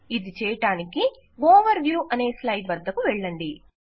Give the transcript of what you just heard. ఇది చేయడానికి overview అనే స్లైడ్ వద్దకు వెళ్ళండి